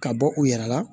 Ka bɔ u yɛrɛ la